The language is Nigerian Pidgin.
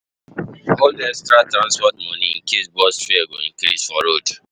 Hold extra transport money in case bus fare go increase for road.